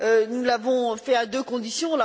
nous l'avons fait à deux conditions.